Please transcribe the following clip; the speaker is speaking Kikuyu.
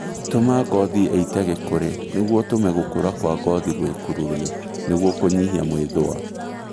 Tũma ngothi ĩite gĩkũri nĩguo ũtũme gũkũra kwa ngothi gwĩkururie nĩguo kũnyihia mwĩthũa